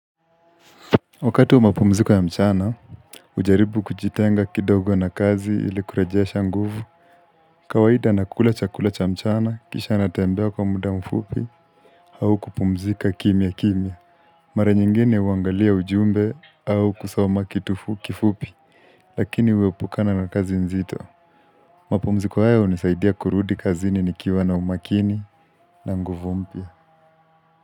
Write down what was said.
Wakati wa mapumziko ya mchana, hujaribu kujitenga kidogo na kazi ili kurejesha nguvu. Kawaida nakula cha kula cha mchana, kisha natembea kwa muda mfupi au kupumzika kimyakimya. Mara nyingine huangalia ujumbe au kusoma kitu kifupi, lakini huepukana na kazi nzito. Mapumziko haya hunisaidia kurudi kazini nikiwa na umakini na nguvu mpya.